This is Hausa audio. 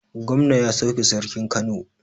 Gomna ya sauke Sarkin Kano.